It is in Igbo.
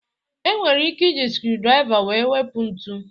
E nwere ike iji skriu draiva wee wepu ntu